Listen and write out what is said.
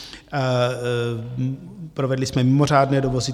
Provedli jsme mimořádné dovozy.